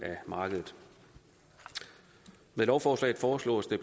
af markedet med lovforslaget foreslås det